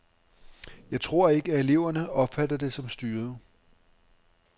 Jeg tror ikke, at eleverne opfatter det som styret.